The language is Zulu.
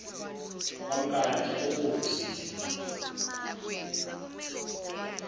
wamnkantsha ubomvu sithi